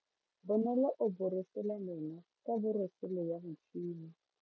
Bonolo o borosola meno ka borosolo ya motšhine.